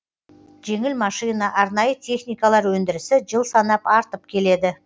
жеңіл машина арнайы техникалар өндірісі жыл санап артып келеді